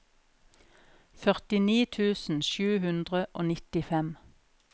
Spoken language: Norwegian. førtini tusen sju hundre og nittifem